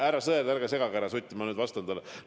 Härra Sõerd, ärge segage härra Sutti, ma praegu vastan talle!